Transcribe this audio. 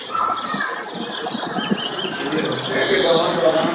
এৰ সেইটো আমাক দৰকাৰ নাই